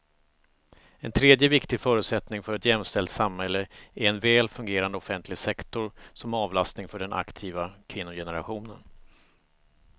En tredje viktig förutsättning för ett jämställt samhälle är en väl fungerande offentlig sektor som avlastning för den aktiva kvinnogenerationen.